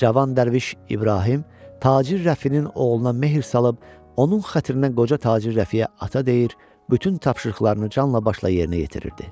Cavan dərviş İbrahim tacir Rəfinin oğluna mehr salıb, onun xətrinə qoca tacir Rəfiyə ata deyir, bütün tapşırıqlarını canla-başla yerinə yetirirdi.